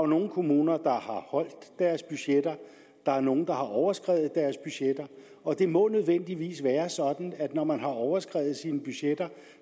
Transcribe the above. nogle kommuner der har holdt deres budgetter der er nogle der har overskredet deres budgetter og det må nødvendigvis være sådan at når man har overskredet sine budgetter